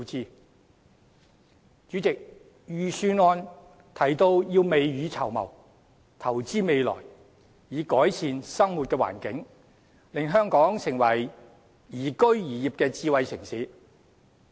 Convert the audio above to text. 代理主席，預算案提到要未雨綢繆，投資未來，以改善生活環境，令香港成為宜居宜業的智慧城市。